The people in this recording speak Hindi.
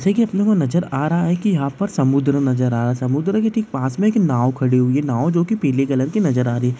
जैसे की अपने को नजर आ रहा है की यहां पर समुद्र नजर आ रहा है समुद्र के ठीक पास में एक नाव खड़ी हुई है नाव जो की पीले कलर की नजर आ रही है।